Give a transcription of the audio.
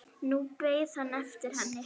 Nú beið hann eftir henni.